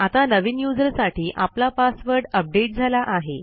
आता नवीन यूझर साठी आपला पासवर्ड अपडेट झाला आहे